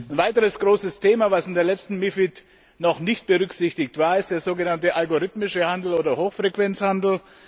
Ein weiteres großes Thema, das in der letzten MiFID noch nicht berücksichtigt war, ist der so genannte algorithmische Handel oder Hochfrequenzhandel.